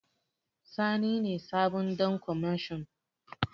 Sani ne sabon Ɗan kwamashon.